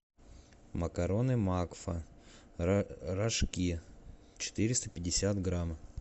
макароны макфа рожки четыреста пятьдесят грамм